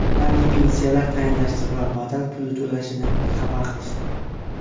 Yangi pensiya tayinlashdi va badal puli to‘lanishini xabar qilishdi.